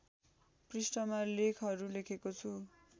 पृष्ठमा लेखहरु लेखेको छु